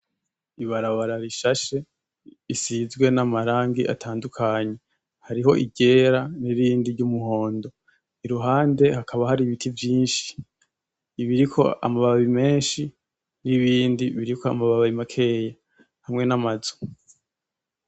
Ibarabara rishashe, risizwe n'amarangi atandukanye, hariho iryera n'irindi ry'umuhondo, iruhande hakaba hari ibiti vyinshi, ibiriko amababi menshi n'ibindi biriko amababi makeya, hamwe n'amazu.